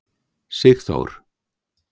Sigþór